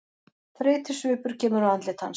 Þreytusvipur kemur á andlit hans.